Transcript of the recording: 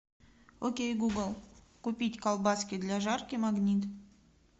окей гугл купить колбаски для жарки магнит